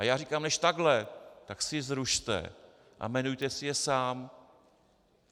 A já říkám, než takhle, tak si zrušte a jmenujte si je sám.